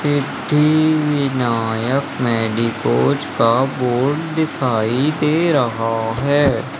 Siddhivinayak medicos का board दिखाई दे रहा है।